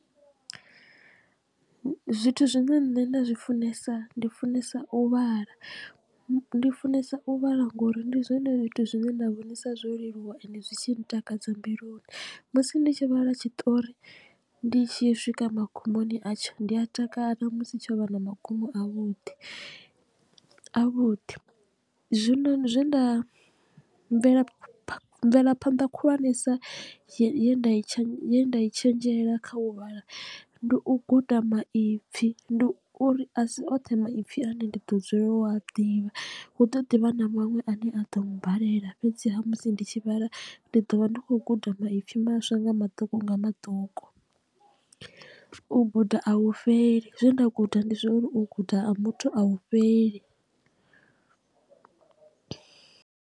Zwithu zwine nṋe nda zwi funesa ndi funesa u vhala ndi funesa u vhala ngori ndi zwone zwithu zwine nda vhonisa zwo leluwa ende zwi tshi ntakadza mbiluni. Musi ndi tshi vhala tshiṱori ndi tshi swika magumoni atsho ndi a takala musi tsho vha na magumo a vhuḓi avhuḓi. Zwino zwe nda mvelaphanḓa khulwanesa ye nda i ye nda i tshenzhela kha u vhala ndi u guda maipfi ndi u uri a si oṱhe maipfi ane ndi ḓo dzulela u a ḓivha hu ḓo ḓivha na maṅwe a ne a ḓo balelwa fhedziha musi ndi tshi vhala ndi ḓo vha ndi khou guda maipfi maswa nga maṱuku unga maṱuku. U guda a hu fheli zwe nda guda ndi zwauri u guda ha muthu a hu fheli.